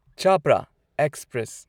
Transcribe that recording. Chapra express